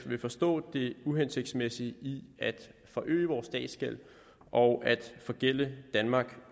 vil forstå det uhensigtsmæssige i at forøge vores statsgæld og at forgælde danmark